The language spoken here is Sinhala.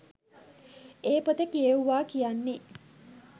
ඒ පොත කියෙව්වා කියන්නේ